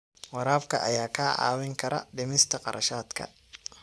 Waraabka ayaa kaa caawin kara dhimista kharashaadka.